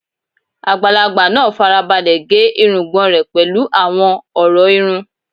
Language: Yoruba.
Àgbàlagbà náà fara balẹ̀ gé irùngbọ̀n rẹ̀ pẹ̀lú àwọn ọ̀rọ̀ irun